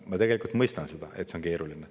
Ma tegelikult mõistan, et see on keeruline.